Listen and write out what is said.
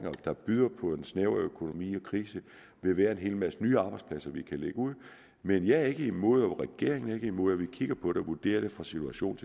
der byder på en snæver økonomi og krise vil være en hel masse nye arbejdspladser vi kan lægge ud men jeg er ikke imod og regeringen er ikke imod at vi kigger på det og vurderer det fra situation